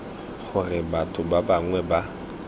gore batho ba bangwe ba